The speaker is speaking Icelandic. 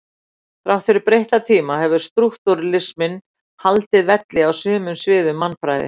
Þrátt fyrir breytta tíma hefur strúktúralisminn haldið velli á sumum sviðum mannfræði.